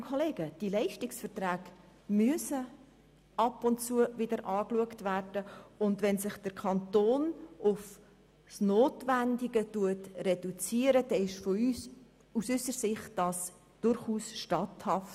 Zu Ziffer 2: Die Leistungsverträge müssen wirklich ab und zu geprüft werden, und wenn der Kanton eine Reduktion auf das Notwendige vornimmt, ist das aus unserer Sicht durchaus statthaft.